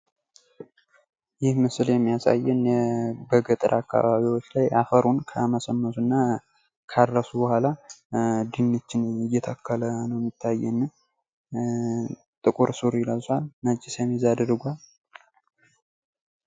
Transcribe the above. ይህ ምስል የሚያሳየን በገጠር አከባቢዎች ላይ አፈሩን ካመሰመሱ እና ካረሱ ቡሃላ ድንች እየተከሉ ነው የሚያሳየን። ትቁር ሱሪ ለብሶ ፤ነጭ ሸሚዝ አድርጓል።